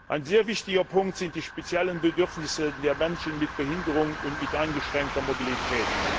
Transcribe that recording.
Ein sehr wichtiger Punkt sind die speziellen Bedürfnisse der Menschen mit Behinderung und mit eingeschränkter Mobilität.